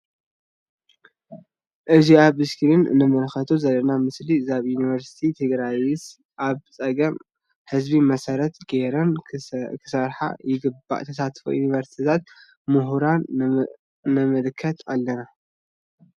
እዚ አብ እስክሪን እንምልከቶ ዘለና ምስሊ ዛብ ዩኒቨርስታት ትግርስይ አብ ፀገም ህዝቢ መሰረት ገይረን ክሰርሓ ይግባእ::ተሳትፎ ዩኒሸርስታት ሙሁራን ንምልከት አለና ::